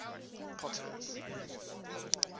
potter's